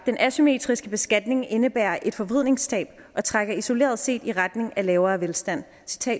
den asymmetriske beskatning indebærer et forvridningstab og trækker isoleret set i retning af lavere velstand